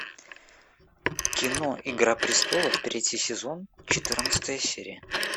кино игра престолов третий сезон четырнадцатая серия